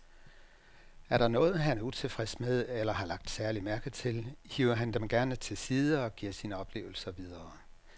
Er der noget, han er utilfreds med eller har lagt særlig mærke til, hiver han dem gerne til side og giver sine oplevelser videre.